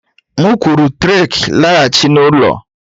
M kwuru Trek laghachi n'ụlọ!